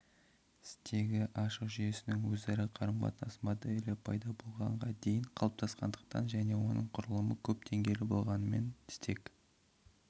стегі ашық жүйесінің өзара қарым-қатынас моделі пайда болғанға дейін қалыптасқандықтан және оның құрылымы көп деңгейлі болғанымен стег